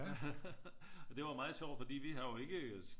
Og det var jo meget sjovt for vi har jo ikke